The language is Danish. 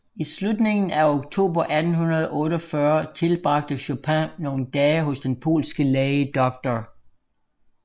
I slutningen af oktober 1848 tilbragte Chopin nogle dage hos den polske læge Dr